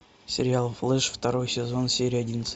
сериал флэш второй сезон серия одиннадцать